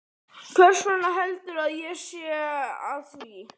Hversvegna heldurðu að ég sé að því?